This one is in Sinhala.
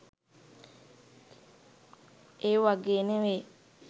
ඒ වගේ නෙමෙයි.